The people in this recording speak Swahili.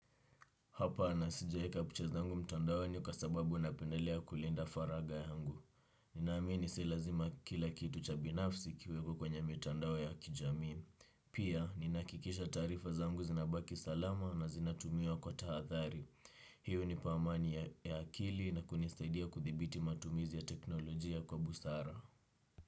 Hapa na sijaeka picha zangu mtandaoni kwa sababu napendelea kulinda faraga yangu. Ninaamini si lazima kila kitu cha binafsi kiwekwe kwenye mitandao ya kijamii. Pia, ninahakikisha taarifa zangu zinabaki salama na zinatumiwa kwa tahathari. Hiyo hunipa amani ya akili na kunisaidia kuthibiti matumizi ya teknolojia kwa busara.